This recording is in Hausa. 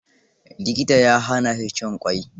Likita ya hana shi cin ƙwai.